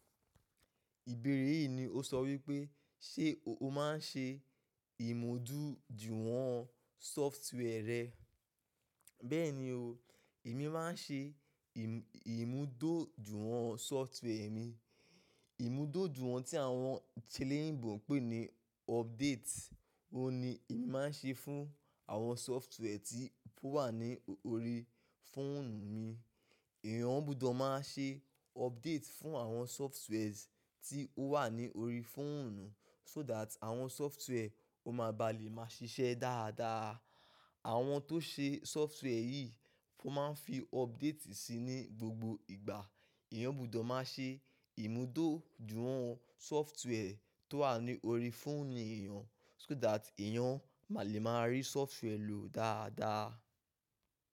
Ìbéèrè yìí ni ó sọ wípé, ṣe o máa ń ṣe ìmódújùwọ̀n software rẹ? Bẹ́ẹ̀ni o, èmi máa ń ṣe ìmúdójùwọ́n software mi. Ìmúdójùwọ́n tí àwọn t’eléyìnbó ń pè ní update, òun ni èmi máa ń ṣe fún àwọn software tí ó wà ní orí fóònù mi. Èèyàn-án gbudọ̀ máa ṣe update fún àwọn softwares tí ó wà ní orí fóònù, so that àwọn software o máa baà lè máa ṣiṣẹ́ dáadáa. Àwọn tó ṣe software yìí, wọ́n máa ń fi updati síi ní gbogbo ìgbà. Èèyàn ò gbọdọ̀ máa ṣe ìmúdójùwọ̀n sọftíwẹ́ẹ̀ tó wà ní orí fóònù èèyàn, so that èèyàn má lè máa rí sọftíwẹ́ẹ̀ lò dáadáa.